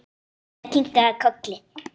Einsog Ísbjörg sjálf.